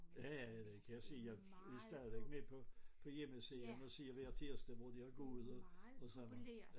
Ja ja ja det kan jeg se jeg er stadigvæk med på på hjemmesiden og se hver tirsdag hvor de har gået og sådan noget